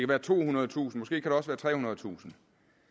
være tohundredetusind måske kan det også være trehundredetusind